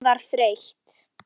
Hún var þreytt.